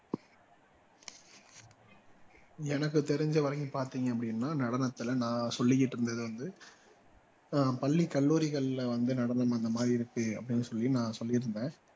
எனக்கு தெரிஞ்ச வரைக்கும் பார்த்தீங்க அப்படின்னா நடனத்துல நான் சொல்லிக்கிட்டு இருந்தது வந்து ஆஹ் பள்ளிக் கல்லூரிகள்ல வந்து நடனம் அந்த மாதிரி இருக்கு அப்படீன்னு சொல்லி நான் சொல்லியிருந்தேன்